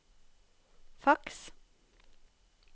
faks